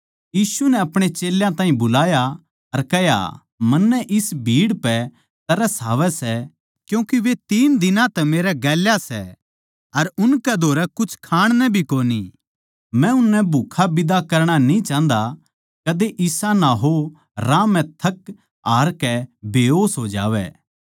यीशु नै अपणे चेल्यां ताहीं बुलाया अर कह्या मन्नै इस भीड़ पै तरस आवै सै क्यूँके वे तीन दिनां तै मेरै गेल्या सै अर उनकै धोरै कुछ खाण नै भी कोनी मै उननै भूक्खा बिदा करणा न्ही चाह्न्दा कदे इसा ना हो राह म्ह थक हार कै बेहोस हो जावै